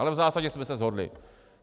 Ale v zásadě jsme se shodli.